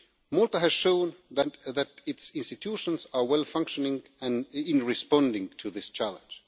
Malta has shown that its institutions are well-functioning in responding to this challenge.